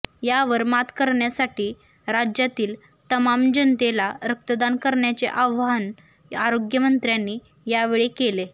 यावर मात करण्यासाठी राज्यातील तमाम जनतेला रक्तदान करण्याचे आवाहन आरोग्य मंत्र्यांनी यावेळी केले